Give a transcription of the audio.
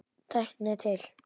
Tæknin er til.